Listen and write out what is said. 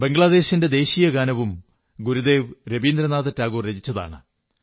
ബംഗ്ളാദേശിന്റെ ദേശീയഗാനവും ഗുരുദേവ് രവീന്ദ്രനാഥ ടാഗോർ രചിച്ചതാണ്